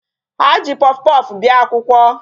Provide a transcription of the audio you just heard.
Ha ji puffpuff bịa akwụkwọ.